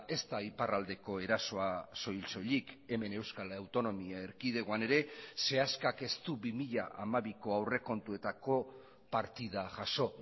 ez da iparraldeko erasoa soil soilik hemen euskal autonomia erkidegoan ere seaskak ez du bi mila hamabiko aurrekontuetako partida jaso